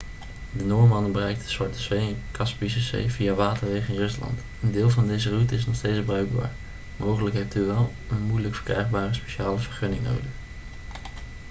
de noormannen bereikten de zwarte zee en kaspische zee via waterwegen in rusland een deel van deze route is nog steeds bruikbaar mogelijk hebt u wel een moeilijk verkrijgbare speciale vergunning nodig